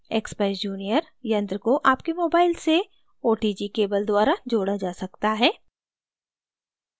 expeyes junior यंत्र को आपके mobile से otg cable द्वारा जोड़ा जा सकता है